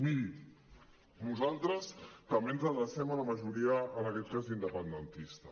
miri nosaltres també ens adrecem a la majoria en aquest cas independentista